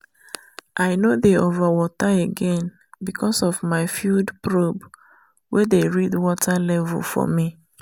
i no dey over water again because of my field probe wey dey read water level for me.